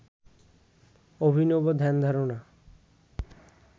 অভিনব ধ্যানধারণা